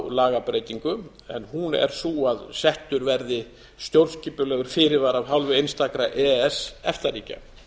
lagabreytingu en hún er sú að settur verði stjórnskipulegur fyrirvari af hálfu einstakra e e s efta ríkja